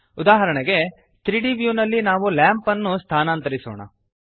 ಉದಾಹರಣೆಗೆ 3ದ್ ವ್ಯೂ ನಲ್ಲಿ ನಾವು ಲ್ಯಾಂಪ್ ನ್ನು ಸ್ಥಾನಾಂತರಿಸೋಣ